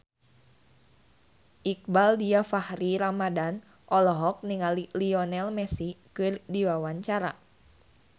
Iqbaal Dhiafakhri Ramadhan olohok ningali Lionel Messi keur diwawancara